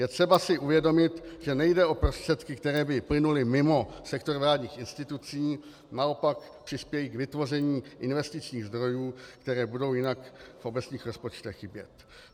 Je třeba si uvědomit, že nejde o prostředky, které by plynuly mimo sektor vládních institucí, naopak přispějí k vytvoření investičních zdrojů, které budou jinak v obecních rozpočtech chybět.